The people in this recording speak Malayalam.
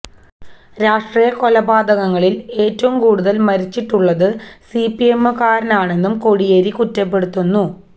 രാഷ്ട്രീയ കൊലപാതകങ്ങളില് ഏറ്റവും കൂടുതല് മരിച്ചിട്ടുള്ളത് സിപിഎമ്മുകാരാണെന്നും കോടിയേരി കുറ്റപ്പെടുത്തുന്നു